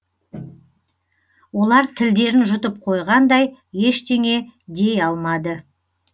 олар тілдерін жұтып қойғандай ештеңе дей алмады